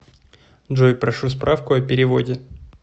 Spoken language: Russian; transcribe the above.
джой прошу справку о переводе